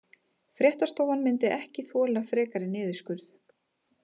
Fréttastofan myndi ekki þola frekari niðurskurð